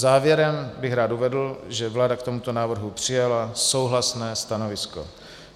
Závěrem bych rád uvedl, že vláda k tomuto návrhu přijala souhlasné stanovisko.